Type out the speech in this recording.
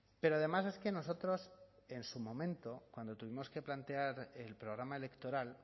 pero además es que nosotros en su momento cuando tuvimos que plantear el programa electoral